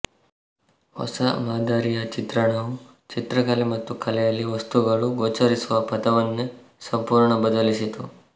ಹೊಸಾ ಮಾದರಿಯ ಈ ಚಿತ್ರಣವು ಚಿತ್ರಕಲೆ ಮತ್ತು ಕಲೆಯಲ್ಲಿ ವಸ್ತುಗಳು ಗೋಚರಿಸುವ ಪಥವನ್ನೇ ಸಂಪೂರ್ಣ ಬದಲಿಸಿತು